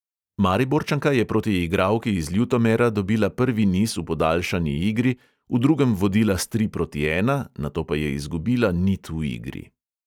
Mariborčanka je proti igralki iz ljutomera dobila prvi niz v podaljšani igri, v drugem vodila s tri proti ena, nato pa je izgubila nit v igri.